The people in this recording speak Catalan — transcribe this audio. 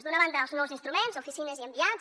d’una banda els nous instruments oficines i enviats